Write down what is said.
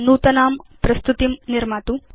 नूतनां प्रस्तुतिं निर्मातु